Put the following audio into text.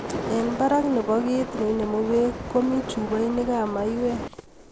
Eng barak nebo kiit neinemu beek komi chupainikab maywek